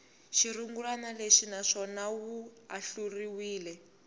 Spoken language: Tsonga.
xirungulwana lexi naswona wu ahluriwe